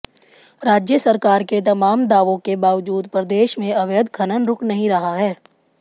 राज्य सरकार के तमाम दावों के बावजूद प्रदेश में अवैध खनन रुक नहीं रहा है